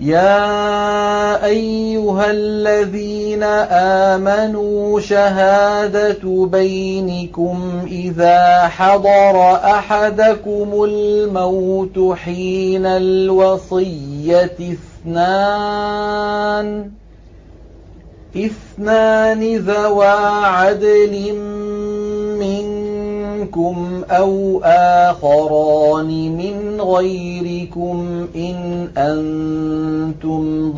يَا أَيُّهَا الَّذِينَ آمَنُوا شَهَادَةُ بَيْنِكُمْ إِذَا حَضَرَ أَحَدَكُمُ الْمَوْتُ حِينَ الْوَصِيَّةِ اثْنَانِ ذَوَا عَدْلٍ مِّنكُمْ أَوْ آخَرَانِ مِنْ غَيْرِكُمْ إِنْ أَنتُمْ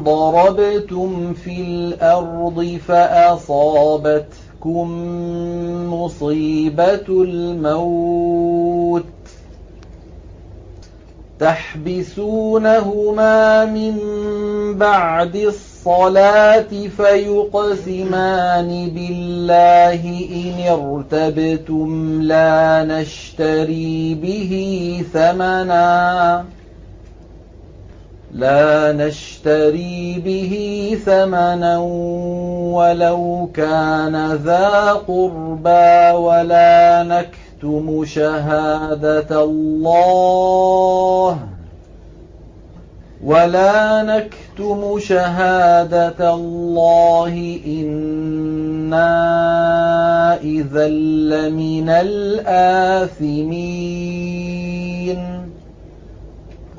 ضَرَبْتُمْ فِي الْأَرْضِ فَأَصَابَتْكُم مُّصِيبَةُ الْمَوْتِ ۚ تَحْبِسُونَهُمَا مِن بَعْدِ الصَّلَاةِ فَيُقْسِمَانِ بِاللَّهِ إِنِ ارْتَبْتُمْ لَا نَشْتَرِي بِهِ ثَمَنًا وَلَوْ كَانَ ذَا قُرْبَىٰ ۙ وَلَا نَكْتُمُ شَهَادَةَ اللَّهِ إِنَّا إِذًا لَّمِنَ الْآثِمِينَ